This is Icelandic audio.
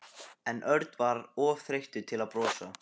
En Örn var of þreyttur til að brosa.